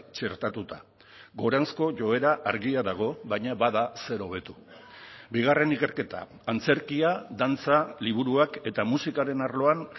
txertatuta goranzko joera argia dago baina bada zer hobetu bigarren ikerketa antzerkia dantza liburuak eta musikaren arloan